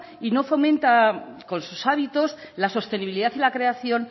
y no fomenta con sus hábitos la sostenibilidad y la creación